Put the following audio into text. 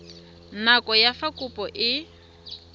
nako ya fa kopo e